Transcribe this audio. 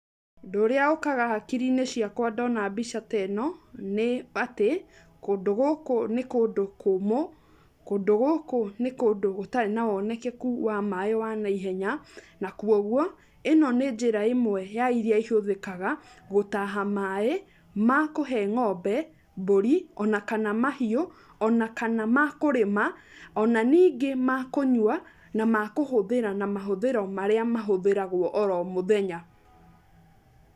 Ũndũ ũrĩa ũkaga hakiri-inĩ ciakwa ndona mbica ta ĩno, nĩ atĩ, kũndũ gũkũ nĩ kũndũ kũmũ, kũndũ gũkũ nĩ kũndũ gũtarĩ na wonekeku wa maaĩ wa naihenya. Na kwoguo ĩno nĩ njĩra ĩmwe, ya iria ihũthĩkaga, gũtaha maaĩ, ma kũhe ng'ombe, mbũri ona kana mahiũ. Ona kana ma kũrĩma ona ningĩ ma kũnyua na makũhũthĩra na mahũthĩro marĩa mahũthagĩrwo oro mũthenya.